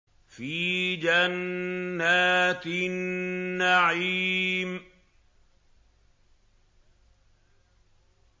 فِي جَنَّاتِ النَّعِيمِ